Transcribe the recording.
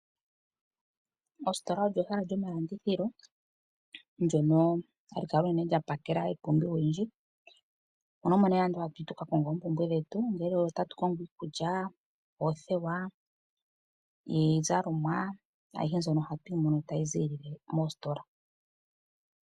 Ostola olyo ehala lyomalandithilo ndyoka hali kala lya pakela iipumbiwa oyindji. Mono omo nee hatu yi tuka konge oompumbwe dhetu, ongele otatu kongo iikulya, oothewa iizalomwa? Ayihe mbyono ohatu yi mono tayi ziilile moostola.